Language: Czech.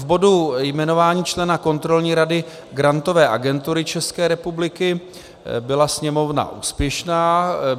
V bodu jmenování člena Kontrolní rady Grantové agentury České republiky byla Sněmovna úspěšná.